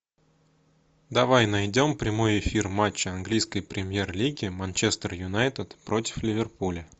давай найдем прямой эфир матча английской премьер лиги манчестер юнайтед против ливерпуля